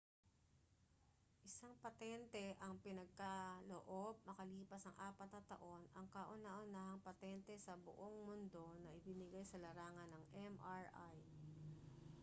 isang patente ang ipinagkaloob makalipas ang apat na taon ang kauna-unahang patente sa buong mundo na ibinigay sa larangan ng mri